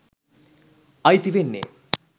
අයිති වෙන්නේ